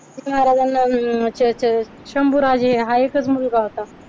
शिवाजी महाराजांना अं शंभूराजे हा एकच मुलगा होता.